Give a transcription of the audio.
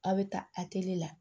A bɛ taa atɛli la